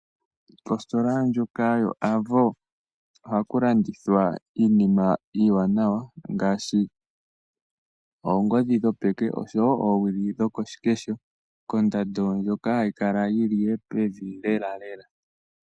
Kositola ndjoka yo Avo ohaku landithwa iinima iiwanawa ngaashi oongodhi dhopeke oshowo oowili dhokoshikesho kondando ndjoka hayi kala yili pevi lelalela